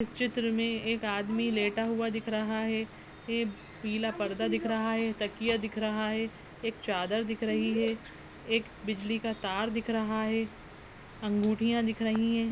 इस चित्र मे एक आदमी लेटा हुआ दिख रहा है एक पीला पर्दा दिख रहा है तकिया दिख रहा है एक चादर दिख रही है एक बिजली का तार दिख रहा है अंगूठियाँ दिख रही हैं।